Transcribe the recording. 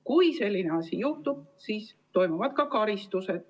Kui selline asi juhtub, siis on rikkujat võimalik karistada.